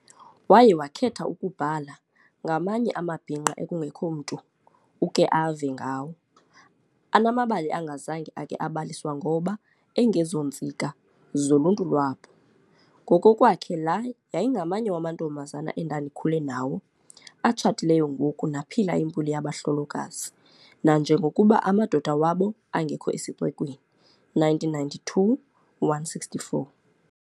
Waye wakhetha ukubhala "ngamanye amabhinqa ekungekho mntu uke ave ngawo, anamabali angazange ake abaliswa ngoba 'engezontsika' zoluntu lwabo". Ngokokwakhe la "yayingamanye wamantombazana endandikhule nawo, atshatileyo ngoku naphila impilo yabahlolokazi nanjengokuba amadoda wabo angekho esixekweni", 1992:164.